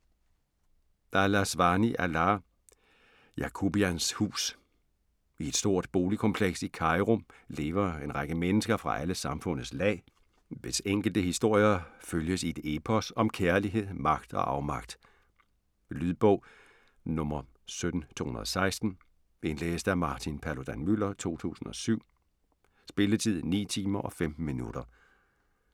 Al Aswany, Alaa: Yacoubians hus I et stort boligkompleks i Cairo lever en række mennesker fra alle samfundets lag, hvis enkelte historier følges i et epos om kærlighed, magt og afmagt. Lydbog 17216 Indlæst af Martin Paludan-Müller, 2007. Spilletid: 9 timer, 15 minutter.